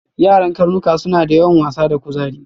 Yaran karnuka suna da yawan wasa da kuzari.